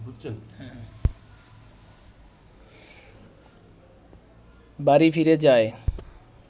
বাড়ি ফিরে যায়